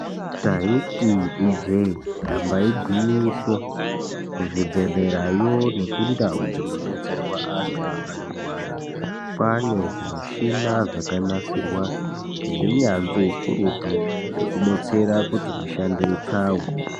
Taiti ijee ndamba igwinyiso kuzvibhedhlerayo nekundau dzinodetserwa antu anorwara kwaane zvimuchina zvakanasirwa ngeunyanzvi ukurutu hwekubetsera kuti mishando ipfawe.